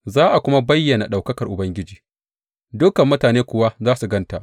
Za a kuma bayyana ɗaukakar Ubangiji, dukan mutane kuwa za su gan ta.